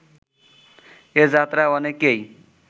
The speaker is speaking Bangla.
এ যাত্রায় অনেকেই